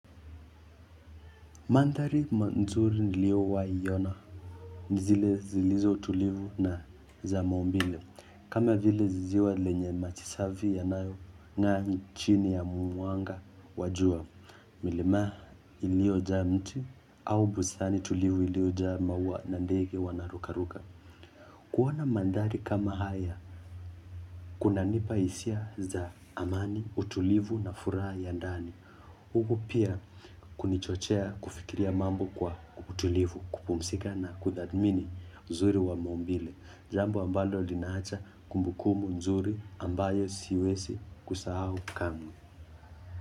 Mandhali ma nzuri niliowaiyona, nzile zilizo tulivu na za maumbile, kama vile ziwa lenye maji safi yanayo ngaa nchini ya mwanga wa jua, milimaa ilio jaa mti, au bustani tulivu ilio jaa maua na ndege wanarukaruka. Kuoana mandhali kama haya, kunapa hisia za amani, utulivu na furaha ya ndani. Hugu pia kunichochea kufikiria mambo kwa utulivu, kupumsika na kuthamini nzuri wa maumbile. Jambu ambalo linaacha kumbukumu nzuri ambayo siwezi kusahau kamwe.